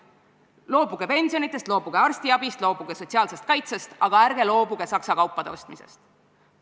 Loobuge pensionitest, loobuge arstiabist, loobuge sotsiaalsest kaitsest, aga ärge loobuge Saksa kaupade ostmisest.